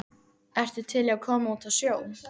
ertu til í að koma út á sjó?